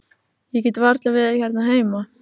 Ég get varla verið hérna heima.